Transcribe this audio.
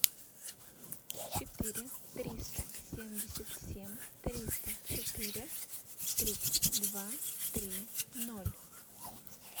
четыре триста семьдесят семь триста четыре тридцать два три ноль